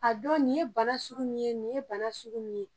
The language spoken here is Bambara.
A don nin ye bana suku min ye, nin ye bana suku min ye.